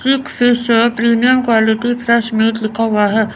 एक फिश है premium quality fresh meat लिखा हुआ है।